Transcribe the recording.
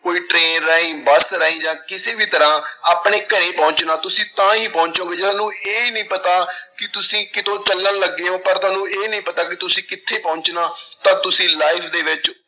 ਕੋਈ train ਰਾਹੀਂ, bus ਰਾਹੀਂ ਜਾਂ ਕਿਸੇ ਵੀ ਤਰ੍ਹਾਂ ਆਪਣੇ ਘਰੇ ਪਹੁੰਚਣਾ, ਤੁਸੀਂ ਤਾਂ ਹੀ ਪਹੁੰਚੋਂਗੇ, ਜਦੋਂ ਇਹ ਨੀ ਪਤਾ ਕਿ ਤੁਸੀਂ ਕਦੋਂ ਚੱਲਣ ਲੱਗੇ ਹੋਏ ਪਰ ਤੁਹਾਨੂੰ ਇਹ ਨੀ ਪਤਾ ਕਿ ਤੁਸੀਂ ਕਿੱਥੇ ਪਹੁੰਚਣਾ ਤਾਂ ਤੁਸੀਂ life ਦੇ ਵਿੱਚ